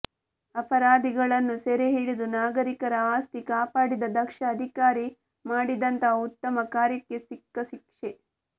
ಅಪರಾಧಿಗಳನ್ನು ಸೆರೆ ಹಿಡಿದು ನಾಗರಿಕರ ಆಸ್ತಿ ಕಾಪಾಡಿದ ದಕ್ಷ ಅಧಿಕಾರಿ ಮಾಡಿದಂತಹ ಉತ್ತಮ ಕಾರ್ಯಕ್ಕೆ ಸಿಕ್ಕ ಶಿಕ್ಷೆ